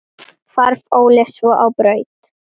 Stúlka með maga.